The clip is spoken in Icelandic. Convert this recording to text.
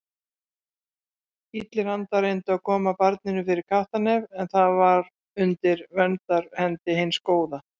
Illir andar reyndu að koma barninu fyrir kattarnef en það var undir verndarhendi hins góða.